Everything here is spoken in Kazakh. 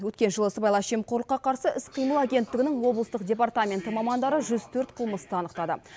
өткен жылы сыбайлас жемқорлыққа қарсы іс қимыл агенттігінің облыстық департаменті мамандары жүз төрт қылмысты анықтады